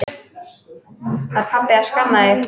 Var pabbi að skamma þig?